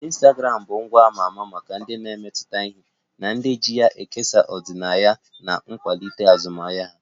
Ịnstagramụ bụ ngwa a ma ama maka ndị na-emetụta ihe na ụdị iji kesaa ọdịnaya ma kwalite azụmahịa ha